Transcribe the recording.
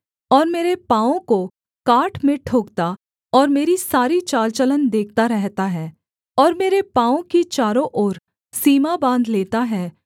और मेरे पाँवों को काठ में ठोंकता और मेरी सारी चालचलन देखता रहता है और मेरे पाँवों की चारों ओर सीमा बाँध लेता है